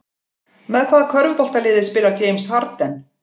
Með hvaða körfuboltaliði spilar James Harden?